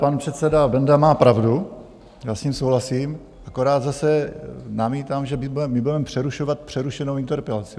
Pan předseda Benda má pravdu, já s ním souhlasím, akorát zase namítám, že my budeme přerušovat přerušenou interpelaci.